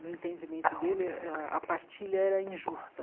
No entendimento dele, eh a a partilha era injusta.